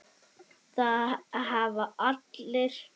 Það hafa allir